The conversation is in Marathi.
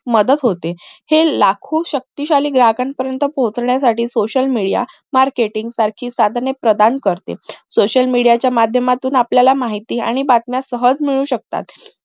मदत होते हे लाखो शक्तिशाली ग्राहका पर्यंत पोचण्यासाठी social media marketing सारखी साधने करते social media च्या माध्यमातून आपल्याला माहिती आणि